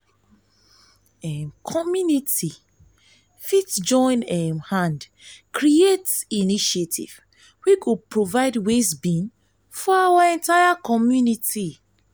community um fit join um hand create initiative wey go provide waste bin for their community